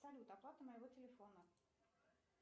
салют оплата моего телефона